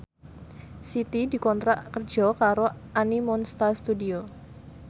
Siti dikontrak kerja karo Animonsta Studio